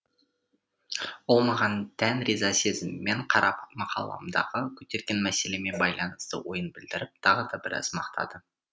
ол маған дән риза сезіммен қарап мақаламдағы көтерген мәселеме байланысты ойын білдіріп тағы да біраз мақтады